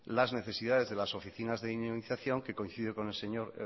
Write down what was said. las necesidades de las oficinas de dinamización que coincidiendo con el señor